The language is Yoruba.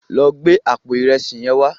Lò gbé àpó irèsí yèn wá